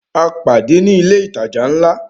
A pàdé ní ilé ìtajà ńlá